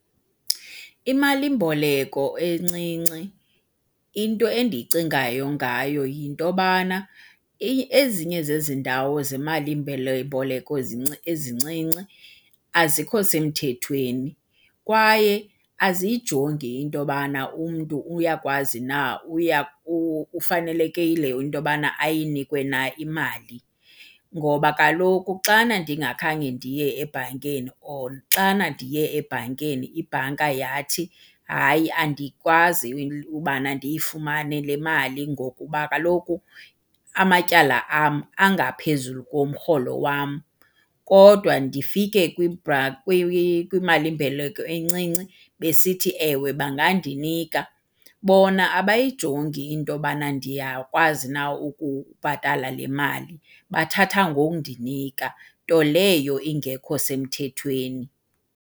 Imali-mboleko encinci into endiyicingayo ngayo yinto yobana ezinye zezi ndawo zemali-mboleko ezincinci azikho semthethweni kwaye aziyijongi into yobana umntu uyakwazi na ufanelekile yileyo into yobana ayinikwe na imali. Ngoba kaloku xana ndingakhange ndiye ebhankeni or xana ndiye ebhankeni, ibhanka yathi hayi andikwazi ubana ndiyifumane le mali ngokuba kaloku amatyala am angaphezulu komrholo wam, kodwa ndifike kwimali-mboleko encinci besithi ewe bangandinika. Bona abayijongi into yobana ndiyakwazi na ukubhatala le mali, bathatha ngokundinika, nto leyo ingekho semthethweni.